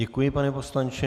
Děkuji, pane poslanče.